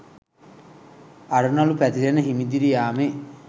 අරුණළු පැතිරෙන හිමිදිරි යාමේ